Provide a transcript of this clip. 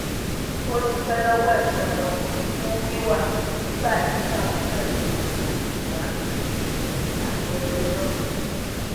ó dúpẹ lọwọ ẹgbọn rẹ ọkùnrin fún wíwá nígbà tí bàbá rẹ kò lè wá síbi ayẹyẹ náà